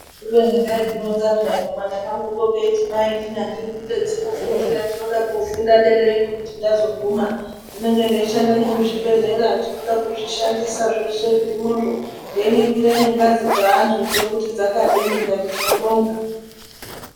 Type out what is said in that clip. Kubeni kaizvironza peya kamwana kangukopeya keiti mainini andidi kuite dzimufundira ndinoda kofunda derayo kwekuti ndazoguma ndinenge ndeishanda nemuzvibhehleya ndinoda kuzvishandisa zveshe zvirimwozvo ndeiningira nengazidzo dzeanhu kuti dzakadini, ndikati tinobonga.